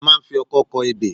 A máa ń fi ọkọ́ kọ ebè